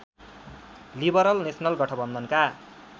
liberal national गठबन्धनका